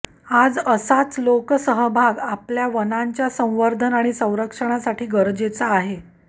आज असाच लोकसहभाग आपल्या वनांच्या संवर्धन आणि संरक्षणासाठी गरजेचा आहे